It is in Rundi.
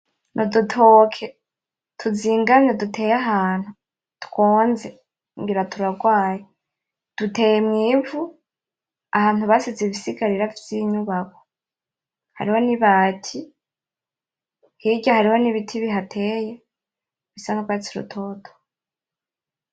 Ni udutoke tuzingamye duteye ahantu twonze ngira turagwaye, duteye mw'ivu ahantu basize ibisigarira vy'inyubako. Hariho n'ibati, hirya hariho n'ibiti bihateye bisa nk'urwatsi rutoto.